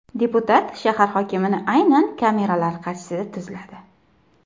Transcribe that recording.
Deputat shahar hokimini aynan kameralar qarshisida tuzladi.